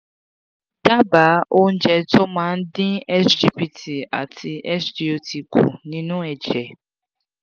daba oúnjẹ tó máa dín sgpt àti sgot kù nínú ẹ̀jẹ̀